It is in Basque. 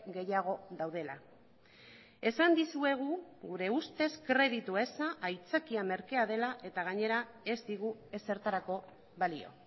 gehiago daudela esan dizuegu gure ustez kreditu eza aitzakia merkea dela eta gainera ez digu ezertarako balio